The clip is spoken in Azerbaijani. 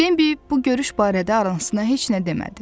Bimbi bu görüş barədə anasına heç nə demədi.